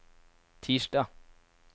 tirsdag